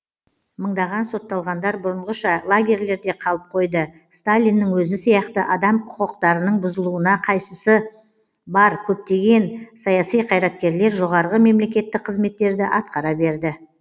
мыңдаған сотталғандар бұрынғыша лагерьлерде қалып қойды сталиннің өзі сияқты адам қүкықтарының бұзылуына қайсысы бар көптеген саяси қайраткерлер жоғарғы мемлекеттік қызметтерді атқара берді